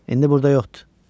İndi burda yoxdur.